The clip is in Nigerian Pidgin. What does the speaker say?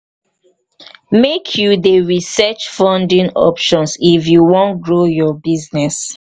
make you dey research funding options if you wan grow your business.